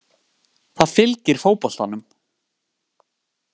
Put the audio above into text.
Það fylgir fótboltanum